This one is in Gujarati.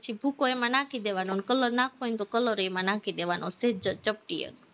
પછી ભૂકો એમાં નાખી દેવાનો અને color નાખવો હોય ને તો color ય એમાં નાખી દેવાનો સહેજ ચપટી એક